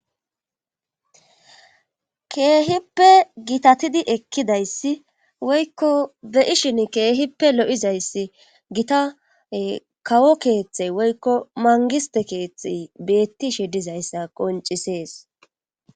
Keehippe gitatidi ekkidayssi woykko be ishin keehippe lo7izayssi gitae kawo keeththey woykko mangiste keeththe beetti shidizayssa qoncisees.